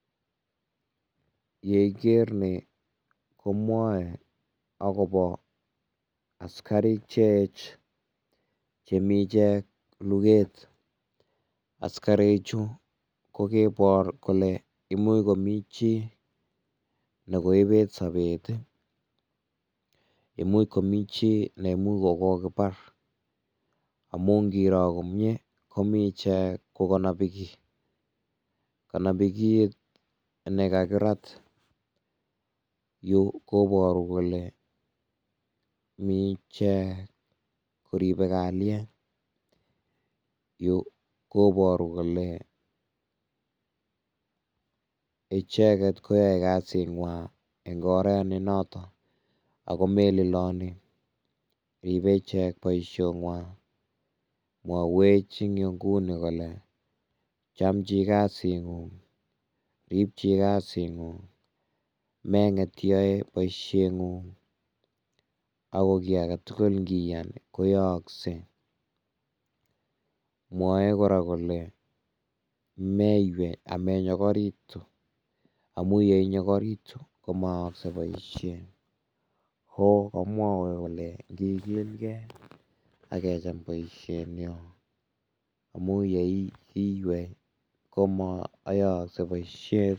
Ye iker nii komwoe akobo askarik cheej, chemi ichek luget, askarichu ko kaibor kole, imuch komi jii ne koibet sobet ii, imuch komi jii ne imuch ko kokibar amun ngiroo komnyee komi ichek kokonobi kii, konobi kiit nekakirat, Yu koboru kole mi ichek koribe kalyet, Yu koboru kole icheket koyoe kasit ngwang eng koret nenoto Ako maililoni ribe ichek boisiet ngwang, mwowech eng inguni kole, Cham jii kasit ngung, rib jii kasit ngung, menget iyoe boisiet ngung, Ako kii ake tukul ngiyan koyooksen, mwoe kora kole meiywei amennyokoritu amun ye inyokoritu ko moyoyoksei boisiet, komwoe kole ngigilke ak kecham boisiet nyon amun ye iywei komoyoyoksei boisiet.